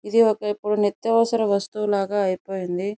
ఇదొక ఇప్పుడు నిత్యావసర వస్తువు లాగా అయిపోయింది.